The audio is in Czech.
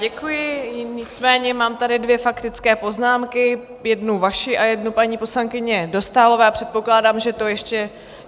Děkuji, nicméně mám tady dvě faktické poznámky, jednu vaši a jednu paní poslankyně Dostálové, a předpokládám, že to ještě...